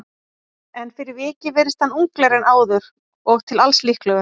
En fyrir vikið virðist hann unglegri en áður og til alls líklegur.